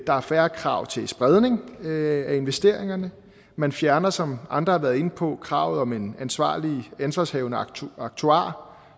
der er færre krav til spredning af investeringerne man fjerner som andre har været inde på kravet om en ansvarshavende ansvarshavende aktuar aktuar